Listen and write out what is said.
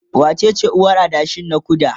wacece uwar adashin na ku da?